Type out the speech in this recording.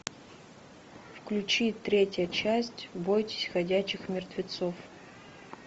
включи третья часть бойтесь ходячих мертвецов